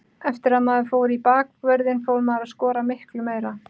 Eftir að maður fór í bakvörðinn fór maður að skora miklu meira.